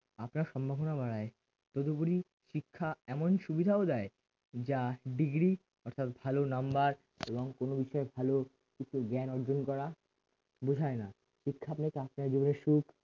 আপনার সম্ভাবনা বাড়ায় তদুপরি শিক্ষা এমন সুবিধাও দেয় যা degree অর্থাৎ ভালো নাম্বার এবং কোন বিষয়ে ভালো কিছু জ্ঞান অর্জন করা বোঝায় না শিক্ষা আপনাকে সুখ